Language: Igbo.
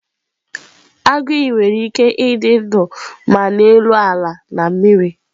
Agụ iyi nwere ike ịdị ndụ ma n'elu ala na mmiri